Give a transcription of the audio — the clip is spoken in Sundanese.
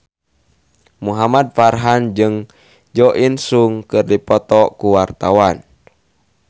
Muhamad Farhan jeung Jo In Sung keur dipoto ku wartawan